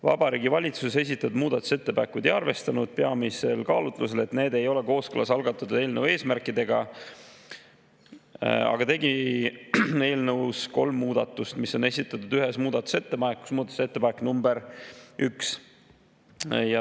Vabariigi Valitsus ei arvestanud esitatud muudatusettepanekuid peamiselt kaalutlusel, et need ei ole kooskõlas algatatud eelnõu eesmärkidega, aga tegi eelnõus kolm muudatust, mis on esitatud ühes muudatusettepanekus: muudatusettepanekus nr 1.